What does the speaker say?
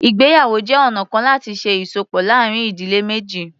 Ìgbéyàwó jẹ́ ọ̀na kan láti ṣe ìsopọ̀ láàárín ìdílé méjì.